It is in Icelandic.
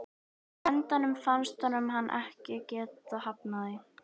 Á endanum fannst honum hann ekki geta hafnað því.